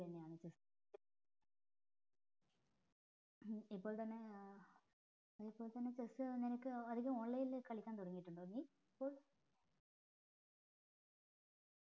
അങ്ങനെത്തന്നെയാണ് chess ഇപ്പോൾ തന്നെ ഏർ ഇപ്പോൾ തന്നെ chess അതികം online കളിക്ക തുടങ്ങിയിട്ടുണ്ടോ നീ